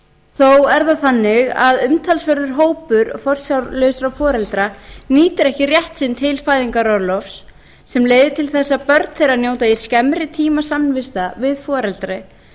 þó er það þannig að umtalsverður hópur forsjárlausra foreldra nýtir ekki rétt sinn til fæðingarorlofs sem leiðir til þess að börn þeirra njóta í skemmri tíma samvista við foreldri